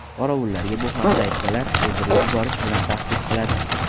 Qorovullarga bu haqda aytsalar, o‘ldirib yuborish bilan tahdid qiladi.